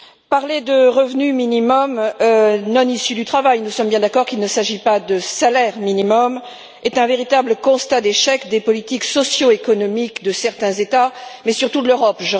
Parler de revenu minimum non issu du travail nous sommes bien d'accord qu'il ne s'agit pas de salaire minimum est un véritable constat d'échec des politiques socio économiques de certains États, mais surtout de l'Europe.